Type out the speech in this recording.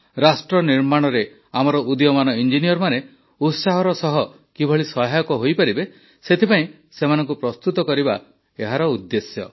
ରାଷ୍ଟ୍ରନିର୍ମାଣରେ ଆମର ଉଦୀୟମାନ ଇଂଜିନିୟରମାନେ ଉତ୍ସାହର ସହ କିଭଳି ସହାୟକ ହୋଇପାରିବେ ସେଥିପାଇଁ ସେମାନଙ୍କୁ ପ୍ରସ୍ତୁତ କରିବା ଏହାର ଉଦ୍ଦେଶ୍ୟ